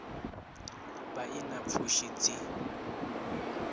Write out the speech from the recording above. vha i na pfushi dzi